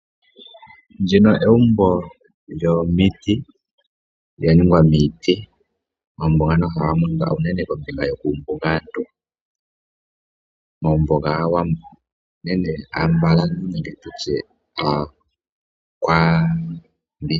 Ndjika egumbo lyomiti, lya ningwa miiti, omagumbo ngano unene oha ga monika kuumbugantu, omagumbo gaawambo nenge aambalantu.